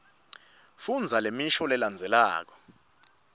fundza lemisho lelandzelako